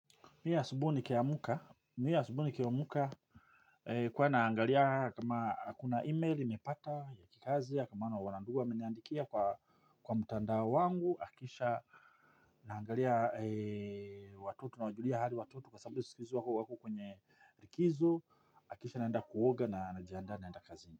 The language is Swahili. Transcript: Mi asubuhi nikiamka. Mimi asubuhi nikiamka huwa naangalia kama akuna email nimepata ya kikazi ya kama na wanandugu wameniandikia kwa mtandao wangu. Kisha naangalia watoto nawajulia hali watoto kwa sababu siku hizi wako wako kwenye likizo. Kisha naenda kuoga na najiandaa naenda kazini.